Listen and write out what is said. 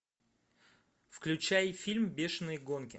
включай фильм бешенные гонки